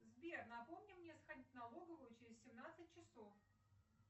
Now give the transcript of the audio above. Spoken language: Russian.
сбер напомни мне сходить в налоговую через семнадцать часов